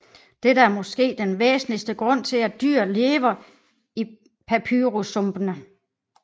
Dette er måske den væsentligste grund til at dyret lever i papyrussumpene